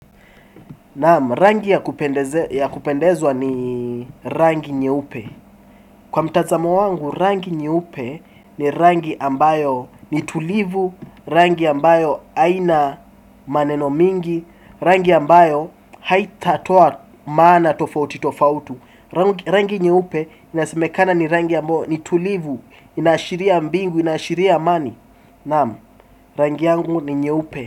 Rangi ya kupendezwa ni rangi nyeupe. Kwa mtazamo wangu rangi nyeupe ni rangi ambayo ni tulivu. Rangi ambayo aina maneno mingi. Rangi ambayo haitatoa maana tofauti tofauti. Rangi nyeupe inasemekana ni rangi ambayo ni tulivu. Inaashiria mbingu inaashiria amani. Rangi yangu ni nyeupe.